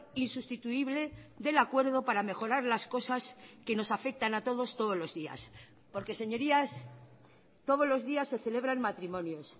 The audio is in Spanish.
insustituible del acuerdo para mejorar las cosas que nos afectan a todos todos los días porque señorías todos los días se celebran matrimonios